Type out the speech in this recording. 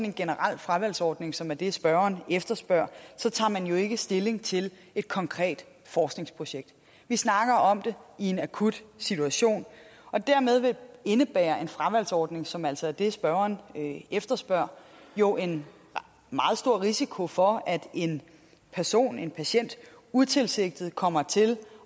en generel fravalgsordning som er det spørgeren efterspørger så tager man jo ikke stilling til et konkret forskningsprojekt vi snakker om det i en akut situation og dermed indebærer en fravalgsordning som altså er det spørgeren efterspørger jo en meget stor risiko for at en person en patient utilsigtet kommer til